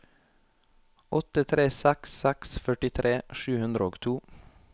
åtte tre seks seks førtitre sju hundre og to